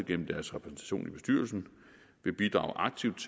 gennem deres repræsentation i bestyrelsen vil bidrage aktivt